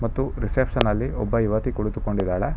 ಮತ್ತು ರಿಸೆಪ್ಶನ್ ಲ್ಲಿ ಒಬ್ಬ ಯುವತಿ ಕುಳಿತುಕೊಂಡಿದಾಳೆ.